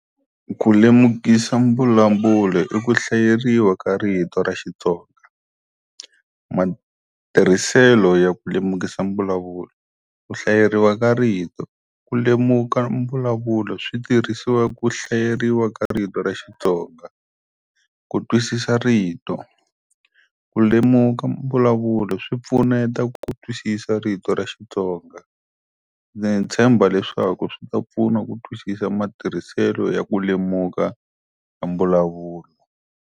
Ku lemukisa mbulavulo i ku hlayeriwa ka rito ra Xitsonga. Matirhiselo ya ku lemukisa mbulavulo, ku hlayeriwa ka rito. Ku lemuka mbulavulo switirhisiwa ku hlayeriwa ka rito ra Xitsonga. Ku twisisa rito, ku lemuka mbulavulo swi pfuneta ku twisisa rito ra xitsonga. Ndzi tshemba leswaku swi ta pfuna ku twisisa matirhiselo ya ku lemuka ka mbulavulo.